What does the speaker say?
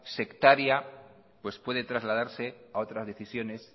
sectaria puede trasladarse a otras decisiones